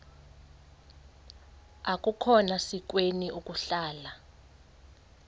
akukhona sikweni ukuhlala